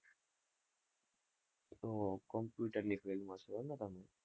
oh computer ની field માં છો, એમ ને તમે?